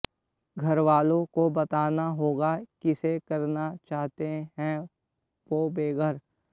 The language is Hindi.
घरवालों को बताना होगा किसे करना चाहते हैं वो बेघर